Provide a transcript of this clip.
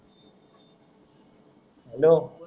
hello